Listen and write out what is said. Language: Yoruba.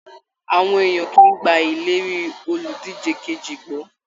Àwọn èèyàn kìí gbà ìlérí oludije kejì gbọ́.